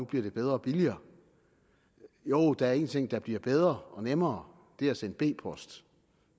bliver bedre og billigere jo der er én ting der bliver bedre og nemmere det er at sende b post